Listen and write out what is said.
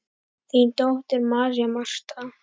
Þín dóttir, María Marta.